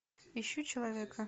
ищу человека